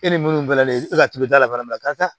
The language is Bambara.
E ni minnu fana ne e ka tuludala fana